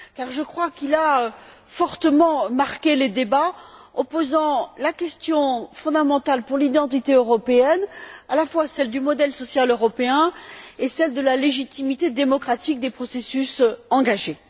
Je crois en effet qu'il a fortement marqué les débats en posant la question fondamentale pour l'identité européenne, à la fois celle du modèle social européen et celle de la légitimité démocratique des processus engagés.